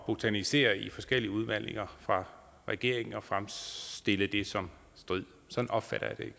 botanisere i forskellige udmeldinger fra regeringen og fremstille det som strid sådan opfatter jeg